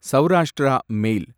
Saurashtra mail